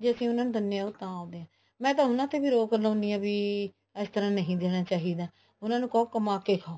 ਜੇ ਅਸੀਂ ਉਹਨਾ ਨੂੰ ਦਿੰਨੇ ਹਾਂ ਉਹ ਤਾਂ ਆਉਂਦੇ ਆ ਮੈਂ ਉਹਨਾ ਤੇ ਵੀ ਰੋਕ ਲਾਉਂਦੀ ਹਾਂ ਕੀ ਅਸੀਂ ਇਸ ਤਰ੍ਹਾਂ ਨਹੀਂ ਦੇਣਾ ਚਾਹੀਦਾ ਉਹਨਾ ਨੂੰ ਖੋ ਕਮਾ ਕੇ ਖਾਓ